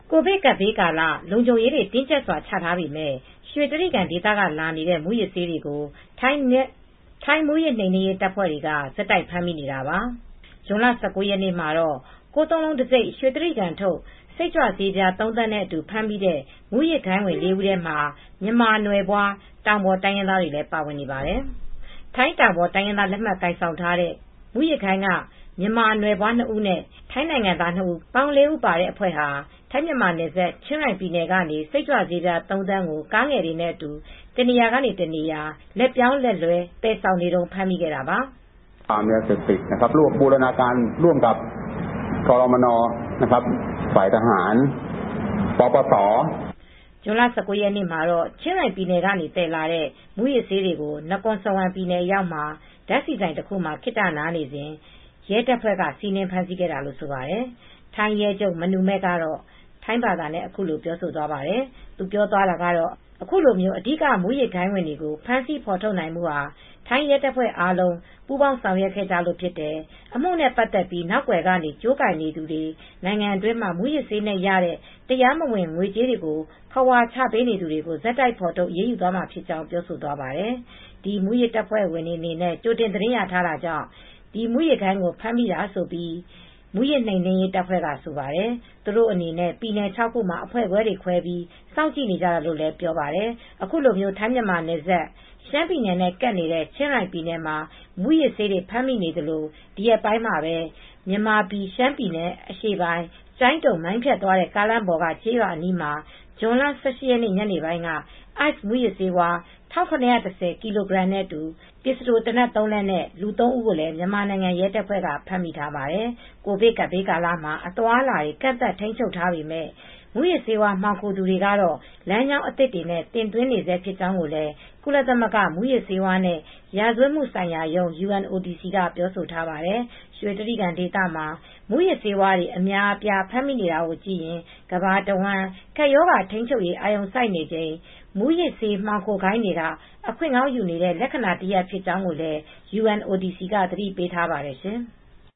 ကိုဗစ်ကပ်ဘေးကာလလုံခြုံရေးတွေတင်းကြပ်စွာချထားပေမယ့် ရွှေတြိဂံဒေသကလာနေတဲ့မူးယစ်ဆေးတွေကို ထိုင်းမူးယစ် နှိမ်နင်းရေးတပ်ဖွဲ့က ဆက်တိုက်ဖမ်းမိနေတာပါ။ ဇွန်လ ၁၉ ရက်နေ့ကတော့ ၉၉၉ တံဆိပ် ရွှေတြိဂံ ထုတ် စိတ်ကြွဆေး ပြားသုံးသန်း နဲ့အတူ ဖမ်းမိတဲ့ မူးယစ်ဂိုဏ်းဝင် ၄ဦးထဲမှာ မြန်မာပြည်သားတွေ ပါဝင်နေပါတယ်။ ထိုင်းတောင်ပေါ် တိုင်းရင်းသား လက်မှတ် ကိုင် ဆောင်ထားကြတဲ့ မူးယစ်ဂိုဏ်းက မြန်မာနိုင်ငံသား နှစ်ဦး နဲ့ ထိုင်းနိုင်ငံသား နှစ်ဦး ပေါင်း ၄ဦးပါတဲ့အဖွဲ့ဟာ ဝင်တွေဟာ ထိုင်းမြန်မာနယ်စပ် ချင်ရိုင်ပြည်နယ်ကနေစိတ်ကြွဆေးပြား၃သန်း ကားငယ်တွေနဲ့ အတူ တနေရာကတနေရာ ကားတွေနဲ့ လက်ပြောင်းလက်လွဲ သယ်ဆောင်နေတုန်းဖမ်းမိတာပါ။ ဇွန်လ ၁၉ ရက်နေ့မှာ တော့ ချင်းရိုင်ပြည်နယ်ကနေ သယ်လာတဲ့ မူးယစ်ဆေးတွေကို နကော်စဝမ် ပြည်နယ်အရောက်မှာ ဓါတ်ဆီဆိုင်မှာ ခဏနားနေစဉ် ရဲတပ်ဖွဲ့က စီးနင်း ဖမ်းဆီးခဲ့တာလို့ဆိုပါတယ် ထိုင်းရဲချုပ် မနူမဲ့ ကတော့ထိုင်းဘာသာနဲ့အခုလိုပြောသွားပါတယ်။ သူပြောသွားတာကတော့ အခုလို အဓိက မူးယစ်ဂိုဏ်းဝင်တွေကို ဖမ်းဆီးဖေါ်ထုတ်နိုင်မှူဟာ ထိုင်းရဲတပ်ဖွဲ့အားလုံးပူးပေါင်းဆောင်ရွက်ခဲ့ကြတာဖြစ်တယ်။ အမှုနဲ့ ပါတ်သက်ပြီး နောက်ကွယ်ကနေ ကြိုးကိုင်နေသူတွေ နိုင်ငံတွင်းမှာ မူးယစ်ဆေးနဲ့ရတဲ့တရားမဝင် ငွေကြေးတွေကိုခဝါချပေးနေသူတွေကို ဆက်တိုက်ဖေါ်ထုတ်အရေးမှာဖြစ်ကြောင်းပြောဆိုသွားပါတယ်။ မူးယစ်တပ်ဖွဲ့ ဝင်တွေအနေနဲ့ ကြိုတင်သတင်းရရှိထားတာကြောင့် ဒီမူးယစ်ဂိုဏ်းကိုဖမ်းမိတာလို့ မူးယစ်နှိမ်နင်းရေးတပ်ဖွဲကဆိုပါတယ်။ သူတို့အနေနဲ့ ပြည်နယ်ခြောက်ခုမှာ အဖွဲ့တွေခွဲပြီး စောင့်ကြည့်နေကြတာလို့လည်းပြောပါတယ်။ အခုလို ထိုင်းမြန်မာနယ်စပ် ရှမ်းပြည်နယ်နဲ့ကပ်နေတဲ့ချင်းရိုင်ပြည်နယ်မှာ မူးယစ်ဆေးတွေဖမ်းမိသလို ဒီရက်ပိုင်းမှာပဲ မြန်မာပြည်ရှမ်းပြည်နယ် အရှေ့ပိုင်း ကျိုင်းတုံ - မိုင်းဖြတ်သွား တဲ့ ကားလမ်းပေါ်က ကျေးရွာအနီးမှာ ဇွန်လ ၁၈ ရက် ညနေပိုင်းက (ICE) မူးယစ်ဆေးဝါး ၁၇၁၀ ကီလိုဂရမ်ခန့် နဲ့ ပစ္စတိုသေနတ် ၃ လက်နဲ့အတူ လူ ၃ ဦး ကိုမြန်မာနိုင်ငံရဲတပ်ဖွဲ့ကလည်းဖမ်းမိထားပါတယ်။ ကိုဗစ်ကပ်ဘေးကာလမှာ အသွားအလာတွေ ကန့်သတ်ထိန်းချုပ်ထားပေမဲ့ မူးယစ်ဆေးဝါး မှောင်ခိုသူတွေကတော့ လမ်းကြောင်းသစ်တွေနဲ့ တင်သွင်းနေဆဲဖြစ်ကြောင်းလည်း ကုလသမဂ္ဂ မူးယစ်ဆေးဝါးနဲ့ ရာဇဝတ်မှုဆိုင်ရာရုံး (UNODC) က ပြောဆိုထားပါတယ် ရွှေတြိဂံဒေသမှာ မူးယစ်ဆေးတွေ အများအပြား ဖမ်းဆီးမိနေတာကိုကြည့်ရင် ကမ္ဘာတဝှမ်း ကပ်ရောဂါထိန်းချုပ်ရေး အာရုံစိုက်နေချိန် မူးယစ်ဆေးမှောင်ခိုဂိုဏ်းတွေက အခွင့်ကောင်းယူနေတဲ့ လက္ခဏာတရပ် ဖြစ်ကြောင်းလည်း UNODC က သတိပေးထားပါတယ်ရှင်။